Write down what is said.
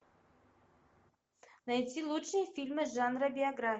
найти лучшие фильмы жанра биография